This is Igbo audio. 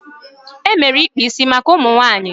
E mere ikpa isi maka ụmụ nwaanyị.